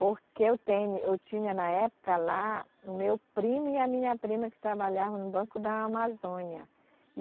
Porque eu teme, eu tinha na época lá o meu primo e a minha prima que trabalhavam no Banco da Amazônia.